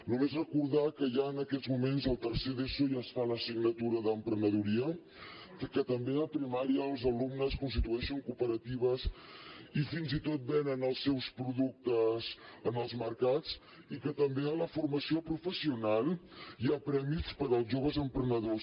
només recordar que ja en aquests moments al tercer d’eso ja es fa l’assignatura d’emprenedoria que també a primària els alumnes constitueixen cooperatives i fins i tot venen els seus productes en els mercats i que també a la formació professional hi ha premis per als joves emprenedors